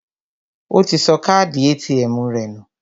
Ó ti sọ káàdì ATM rẹ̀ nù